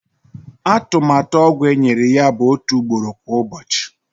Atụmatụ ọgwụ enyere ya bụ otu ugboro kwa ụbọchị.